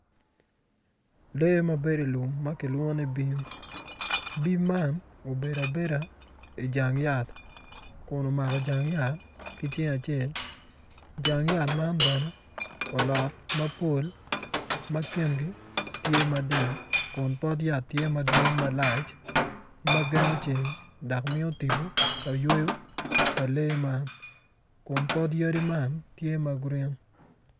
Lee ma bedo i lum ma kilwongo ni bim bim man obedo abedo i jang yat kun omako jang yat ki cinge acel jang yat man bene olot mapol ma kingi tye mading kunpot yat tye madwong malac dok gengo ceng dok miyo titpo ka yweyo pa lee man kun pot yadi man tye ma green.